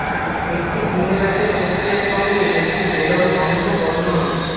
একটি দিন রাতের প্রক্রিয়া সঙ্গে একটি বেলন অন্ধ বর্ণন